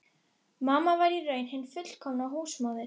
Þú ert ruddi og verður aldrei neitt annað en ruddi.